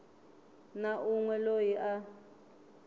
na un we loyi a